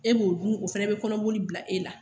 E b'o dun o fana bɛ kɔnɔboli bila e la.